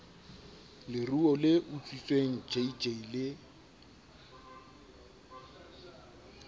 leruo le utswitsweng jj le